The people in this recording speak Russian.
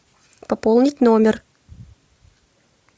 пополнить номер